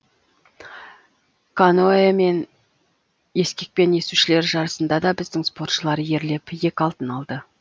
каноэ мен ескекпен есушілер жарысында да біздің спортшылар ерлеп екі алтын алды